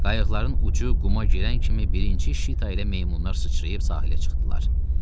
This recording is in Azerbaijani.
Qayıqların ucu quma girən kimi birinci Şitayla meymunlar sıçrayıb sahilə çıxdılar.